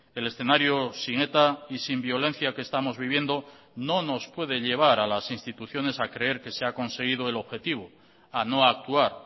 el escenario sin eta y sin violencia que estamos viviendo no nos puede llevar a las instituciones a creer que se ha conseguido el objetivo a no actuar